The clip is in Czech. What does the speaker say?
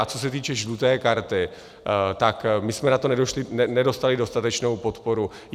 A co se týče žluté karty, tak my jsme na to nedostali dostatečnou podporu.